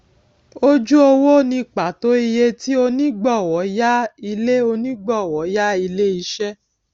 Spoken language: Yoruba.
ojú owó ni pàtó iye tí onígbọwọ yá ilé onígbọwọ yá ilé iṣẹ